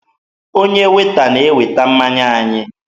Onye Weeta na-eweta mmanya anyị.